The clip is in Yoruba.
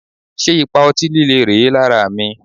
Ṣé ipa ọtí líle rèé lára mi?